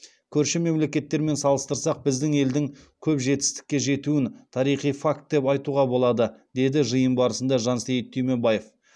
көрші мемлекеттермен салыстырсақ біздің елдің көп жетістікке жетуін тарихи факт деп айтуға болады деді жиын барысында жансейіт түймебаев